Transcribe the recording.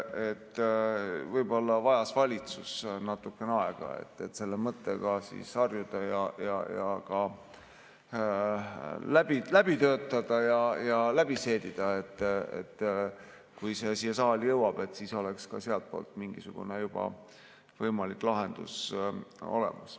Võib-olla vajas valitsus natukene aega, et selle mõttega harjuda, see läbi töötada ja läbi seedida, nii et kui see siia saali jõuab, siis oleks ka sealtpoolt juba mingisugune võimalik lahendus olemas.